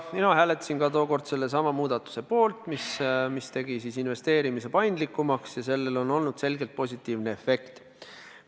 Mina hääletasin ka tookord sellesama muudatuse poolt, mis tegi investeerimise paindlikumaks, ja sellel on olnud selgelt positiivne efekt.